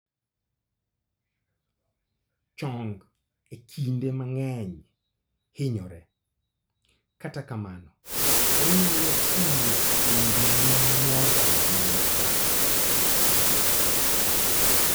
Chong e kinde mang'eny hinyore, katakamano onyalo hinyo fuondini moro amora